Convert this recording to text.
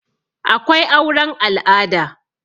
akwai auren al'ada